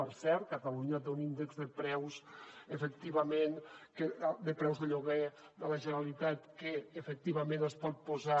per cert catalunya té un índex efectivament de preus de lloguer de la generalitat que efectivament es pot posar